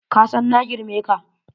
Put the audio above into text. Kasan na girme ka.